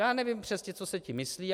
Já nevím přesně, co se tím myslí.